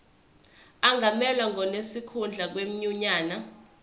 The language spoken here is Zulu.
angamelwa ngonesikhundla kwinyunyane